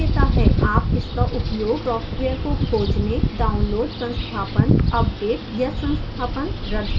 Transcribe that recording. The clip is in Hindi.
आप इसका उपयोग सॉफ्टवेयर को खोजने download संस्थापन अपडेट या संस्थापन रद्द करने के लिए कर सकते हैं